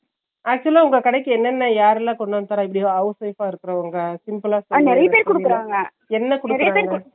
அக்டோல் ல உங்க கடைக்கு என்னன்னா யாரெல்ல கொண்டுவந்து தராங்க இப்படி housewife அ இருக்குறவங்க சிம்பிள் லா